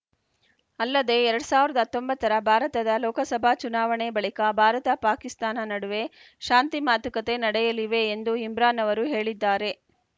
ಅಲ್ಲದೆ ಎರಡ್ ಸಾವಿರದ ಹತ್ತೊಂಬತ್ತ ರ ಭಾರತದ ಲೋಕಸಭಾ ಚುನಾವಣೆ ಬಳಿಕ ಭಾರತಪಾಕಿಸ್ತಾನ ನಡುವೆ ಶಾಂತಿ ಮಾತುಕತೆ ನಡೆಯಲಿವೆ ಎಂದು ಇಮ್ರಾನ್‌ ಅವರು ಹೇಳಿದ್ದಾರೆ